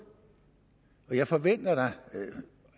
jeg forventer da